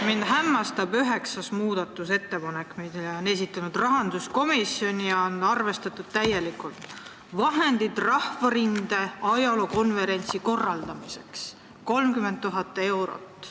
Mind hämmastab üheksas muudatusettepanek, mille on esitanud rahanduskomisjon ja mida on täielikult arvestatud: vahendid Rahvarinde ajaloo konverentsi korraldamiseks – 30 000 eurot.